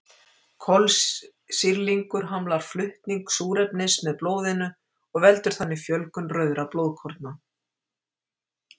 Kolsýrlingur hamlar flutning súrefnis með blóðinu og veldur þannig fjölgun rauðra blóðkorna.